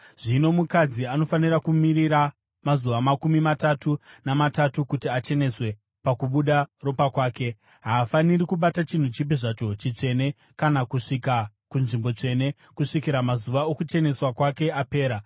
Zvino mukadzi anofanira kumirira mazuva makumi matatu namatatu kuti acheneswe pakubuda ropa kwake. Haafaniri kubata chinhu chipi zvacho chitsvene kana kusvika kunzvimbo tsvene kusvikira mazuva okucheneswa kwake apera.